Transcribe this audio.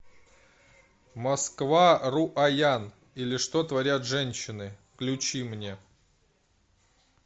москва руаян или что творят женщины включи мне